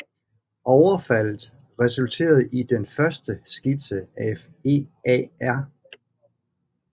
Overfaldet resulterede i den første skitse af EAR